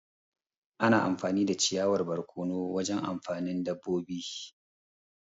Ana amfani da ciyawar barkono wajen abincin dabobi.